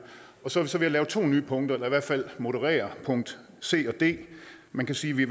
og så er vi så ved at lave to nye punkter eller i hvert fald moderere punkt c og d man kan sige vi